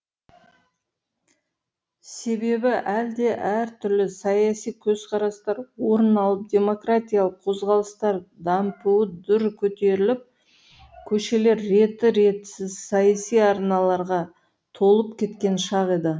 себебі елде әртүрлі саяси көзқарастар орын алып демократиялық қозғалыстар дампуы дүр көтеріліп көшелер ретті ретсіз саяси арналарға толып кеткен шақ еді